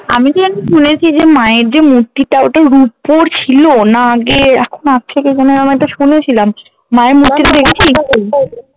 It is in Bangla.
আমিতো জানি শুনেছি যে মায়ের যে মুর্তিটা ওটা রুপোর ছিল না আগে এখন আছে কি কোনো এমন একটা শুনেছিলাম